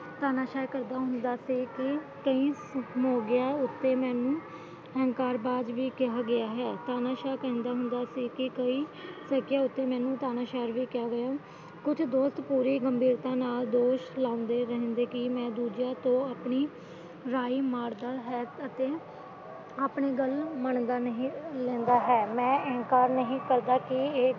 ਕੁਝ ਦੋਸਤ ਪੂਰੀ ਨਿੰਦਾ ਨਾਲ ਦੋਸ਼ ਲਾਂਦੇ ਰਹਿੰਦੇ ਕਿ ਮੈਂ ਦੂਜੀਆਂ ਤੇ ਆਪਣੀ ਰਾਏ ਮੜ੍ਹਦਾ ਹਾਂ ਆਪਣੀ ਗੱਲ ਮੰਨਦਾ ਨਹੀਂ ਤੇ ਹਾਂ ਮੈਂ ਅਹਿੰਕਾਰ ਨਹੀਂ ਕਰਦਾ ਹਾਂ